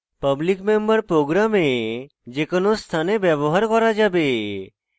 public member program যে কোনো স্থানে ব্যবহার করা যাবে